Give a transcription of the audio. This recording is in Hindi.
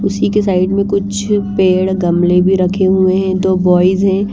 उसी के साइड में कुछ पेड़ गमले भी रखे हुए हैं दो बॉयज हैं।